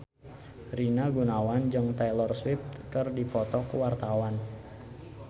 Rina Gunawan jeung Taylor Swift keur dipoto ku wartawan